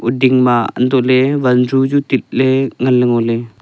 ouding ma untoh ley vanju chu tit ley ngan ley ngoley.